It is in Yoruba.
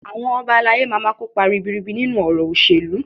Àwọn Ọba alayé má máa kópa ribiribi nínú ọ̀rọ̀ òṣèlú